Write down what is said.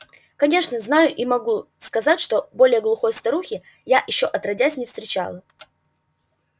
конечно знаю и могу сказать что более глупой старухи я ещё отродясь не встречала